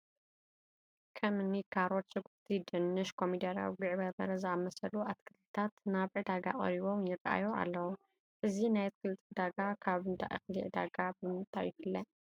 ከም እኒ ካሮት፣ ሽጉርቲ፣ ድንሽ፣ ኮሚደረ፣ ጉዕ በርበረ ዝኣምሰሉ ኣትክልትታት ናብ ዕዳጋ ቀሪቦም ይርአዩ ኣለዉ፡፡ እዚ ናይ ኣትክልቲ ዕዳጋ ካብ እንዳ እኽሊ ዕዳጋ ብምንታይ ይፍለ?